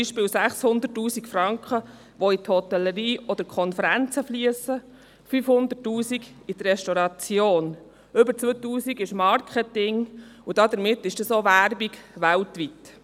Beispielsweise fliessen 600 000 Franken in die Hotellerie oder in Konferenzen, 500 000 Franken in die Restauration, über 2 Mio. Franken ist Marketing, und damit ist das auch Werbung weltweit.